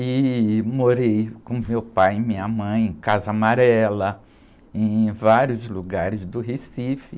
E morei com meu pai e minha mãe em, em vários lugares do Recife.